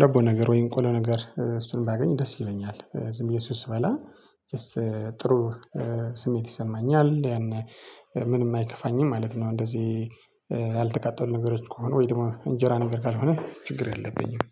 ዳቦ ነገር ወይም ቆሎ ነገር እሱን ባገኝ ደስ ይለኛል ዝም ብዬ እሱን ስበላ ጀስት ጥሩ ስሜት ይሰማኛል። ያን ምንም አይከፋኝም ማለት ነው። እንደዚህ ያልተቃጠሉ ነገሮች ከሆኑ ወይ ደግሞ እንጀራ ነገር ካልሆነ ችግር የለብኝም።